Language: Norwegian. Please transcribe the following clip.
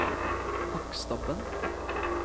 Hakkstabben